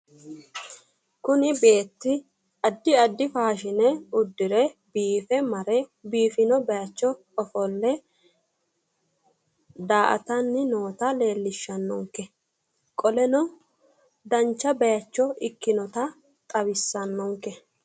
Kuni beetti addi addi faashine uddire biife mare biifino bayicho ofolle daa'atanni noota leellishshanno qoleno dancha bayicho ikkinota xawissanno